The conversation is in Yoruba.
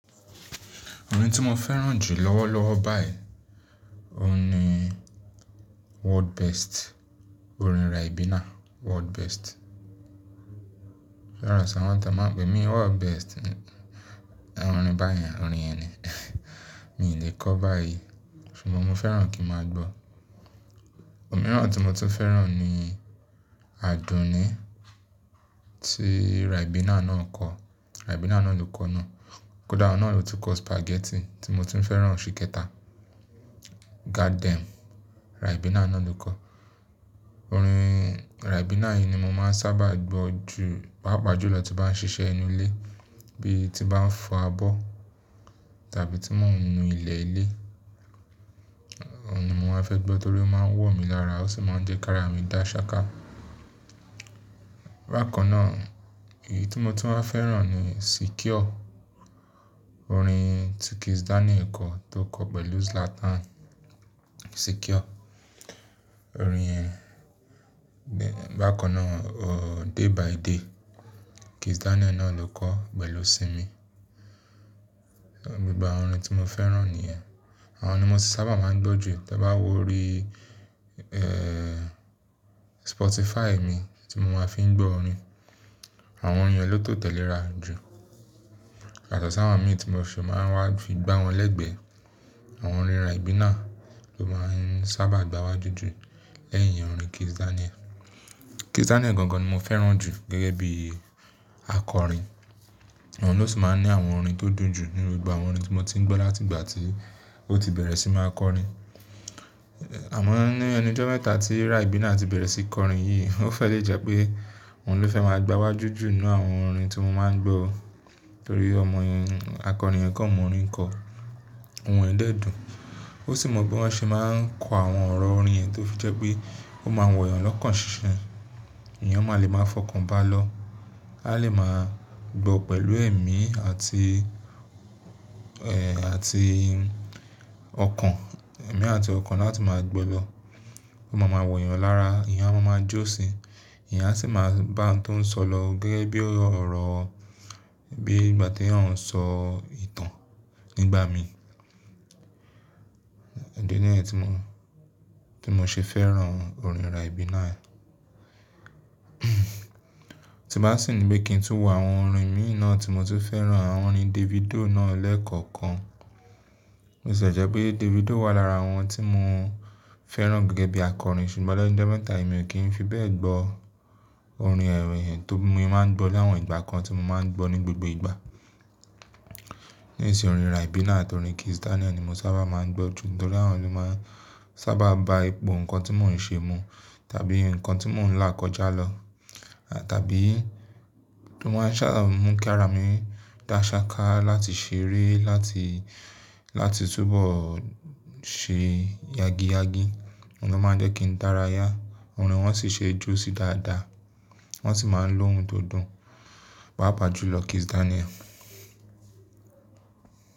Orin tí mo fẹ́ràn jù lọ́wọ́lọ́wọ́ báyìí, òun ní World Best, orin Ribina World Best. Pẹ̀lú àṣà wọn tá. Ma ń pe mí World Best. Orin báyìí, orin ẹni. Mi ò lè kọ ọ́ báyìí ṣùgbọ́n mo fẹ́ràn kí n máa gbọ́. Òmíràn tí mo tún fẹ́ràn ni Àdùnní tí Rai bina náà kọ. Rai bina náà ló kọ ọ́ náà. Kódà òun náà lo tun kọ spaghetti tí mo tún fẹ́ràn ṣìkẹta. Got them, Rai bina náà ló kọ. Orin Rai bina yìí ni mo máa ń sábà gbọ́ jù, pàápàá jùlọ̀ tí bá ń ṣiṣẹ́ inú ilé, bí i tí bá ń fọ abọ́ tàbí tí mo ń nu ilẹ̀ ilé. Òòrùn yìí mo máa fẹ́ gbọ́ torí ó máa ń wọ̀ mí lára ó sì máa ń jẹ káàrà mi dá ṣáká. Bákan náà èyí tí mo tún máa fẹ́ràn ni Secure, orin tí Kizz Daniel kọ tó kọ pẹ̀lú Zlatan. Secure. Orin, bákan náà, oh, day by Day, Kizz Daniel náà ló kọ pẹ̀lù simi. Gbigba òórùn tí mo fẹ́ràn nìyẹn. Àwọn ni mo sábà máa ń gbọ́ jù tí bá wọrí, eh, Spotify mi tí mo máa fi ń gbọ́ orin. Àwọn orin yẹn ló tò tẹ́lẹ̀ ra jù. Yà to ṣà wọn mi tí mo fi máa ń wá fi gbá wọn lẹ́gbẹ́. Àwọn orin Rai bina ló máa ń sábà gba wájú jù lẹ́yìn orin Kizz Daniel. Kizz Daniel gangan ni mo fẹ́ràn jù gẹ́gẹ́ bí àkọrin. O ló sì máa ń ní àwọn orin tó dùn jù nínú gbogbo àwọn orin tí mo ti ń gbọ́ láti ìgbà tí ó ti bẹ̀rẹ̀ sí máa kọ orin. Àmọ́ ní ẹnu jọ́ mẹ́ta tí Rai bina ti bẹ̀rẹ̀ sí í kọ orin yìí, o fẹ́ lè jẹ́ pé o ló fẹ́ máa gba wájú jù nínú àwọn orin tí mo máa ń gbọ́ torí ọmọ yẹn, àkọrin yẹn kọ́ mọ orin kọ́. Ohùn rẹ̀ dẹ́ dùn. Ó sì mọ bí wọ́n ṣe máa ń kọ àwọn ọ̀rọ̀ orin ẹ tó fi jẹ́ pé ó máa wọ̀yàn lọ́kàn ṣiṣẹ́. Èèyàn máa lẹ́ máa fọkàn bá a lọ. A lè máa gbọ́ pẹ̀lù èmi àti, eh, àti ọkàn. Èmi àti ọkàn láti máa gbọ́ lọ. Ó máa ma wọ̀yàn lára, èèyàn a máa jó sí i. Ẹ̀yà sì máa bá àǹtó ń sọ lọ gẹ́gẹ́ bí ọ̀rọ̀, bí ìgbà tí ẹ̀yàn ń sọ ìtàn nígbà mi. E díẹ̀ ni ẹ́ tí mo, tí mo ṣe fẹ́ràn orin Rai bina. Tí bá sì ní pé kí n tún wọ àwọn orin míì náà tí mo tún fẹ́ràn, àwọn orin Davido náà lẹ́ẹ̀kọ̀kan. Ó sì jẹ́ pé Davido wà lára àwọn tí mo fẹ́ràn gẹ́gẹ́ bí àkọrin ṣùgbọ́n lọ́jọ́ mẹ́ta yìí mi ò kí ń fi bẹ́ẹ̀ gbọ orin ẹ̀ríyẹn tó mi máa ń gbọ́ lẹ́ àwọn ìgbà kan tí mo máa ń gbọ́ ní gbogbo ìgbà. Nísìnyí orin Rai bina àti orin Kizz Daniel ni mo sábà máa ń gbọ́ jù nítorí àwọn ló máa ń sábà ba ipò ohun tí mò ń ṣe mu tàbí nǹkan tí mò ń là kọjá lọ. Tàbí, tí wọ́n bá ń ṣà mú kí ara mi dá ṣáká láti ṣeré, láti, láti túbọ̀ ṣe yagi yagi. Wọn ló máa ń jẹ́ kí n dárayá. Orin wọn sì ṣe jó sí dáadáa. Wọn sì máa ń lo ohun tó dùn. Páápàá jùlọ̀ Kizz Daniel.